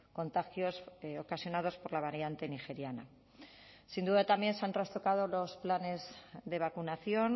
contagios ocasionados por la variante nigeriana sin duda también se han trastocado los planes de vacunación